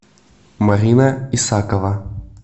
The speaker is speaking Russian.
марина исакова